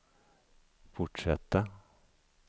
fortsätta